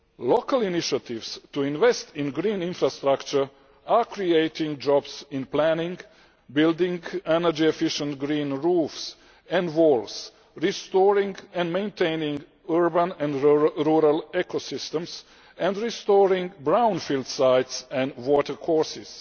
Local initiatives to invest in green infrastructure are creating jobs in planning, building energy efficient green roofs and walls, restoring and maintaining urban and rural ecosystems, and restoring brownfield sites and watercourses.